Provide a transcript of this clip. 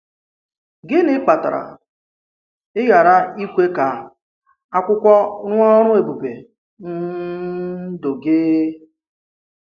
Gịnị̀ kpatàrà ị̀ ghara ịkwe ka ákwùkwò rụọ ọrụ̀ èbùbè n’ndù gị?